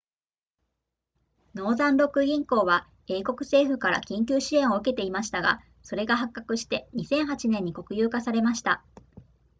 ノーザンロック銀行は英国政府から緊急支援を受けていましたがそれが発覚して2008年に国有化されました